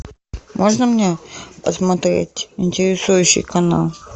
можно мне посмотреть интересующий канал